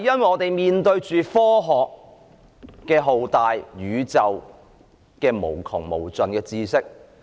我們面對着浩大的科學、宇宙無窮無盡的知識。